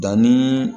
Danni